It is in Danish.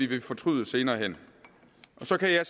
vil fortryde senere hen så kan